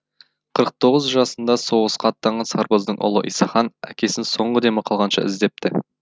қырық тоғыз жасында соғысқа аттанған сарбаздың ұлы исахан әкесін соңғы демі қалғанша іздепті